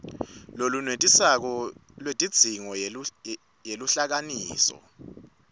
lolwenetisako lwetidzingo yeluhlakasimo